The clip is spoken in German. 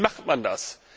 Wie macht man das?